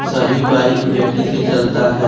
सभी bike battery से चलता है।